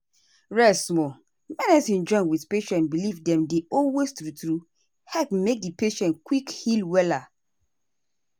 rest small. medicine join wetin patient believe dem dey always true true help make di patient quick heal wella.